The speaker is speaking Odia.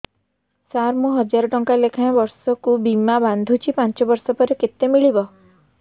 ସାର ମୁଁ ହଜାରେ ଟଂକା ଲେଖାଏଁ ବର୍ଷକୁ ବୀମା ବାଂଧୁଛି ପାଞ୍ଚ ବର୍ଷ ପରେ କେତେ ମିଳିବ